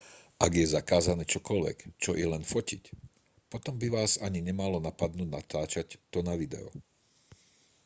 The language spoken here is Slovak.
ak je zakázané čokoľvek čo i len fotiť potom by vás ani nemalo napadnúť natáčať to na video